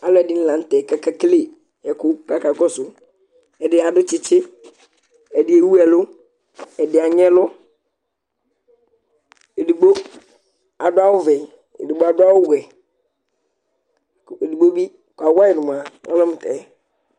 Alʊɛdini lanutɛ kakekele ɛkʊ Ɛdi adʊ tsɩtsɩ ɛdi ewuelʊ, ɛdi aɣnɛlʊ Edigbo adʊawʊ vɛ, edigbo adʊawʊ wɛ, ƙʊedigbo kawayɩ numua olebmutɛ